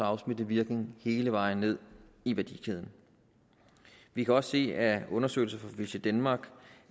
afsmittende virkning hele vejen ned i værdikæden vi kan også se af undersøgelser fra visitdenmark